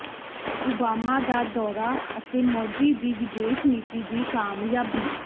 Obama ਦਾ ਦੌਰਾ ਅਤੇ ਮੋਦੀ ਦੀ ਵਿਦੇਸ਼ ਨੀਤੀ ਦੀ ਕਾਮਯਾਬੀ